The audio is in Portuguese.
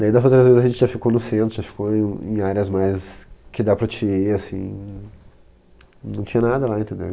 Daí, das outras vezes, a gente já ficou no centro, já ficou em áreas mais... que dá para ti ir, assim... Não tinha nada lá, entendeu?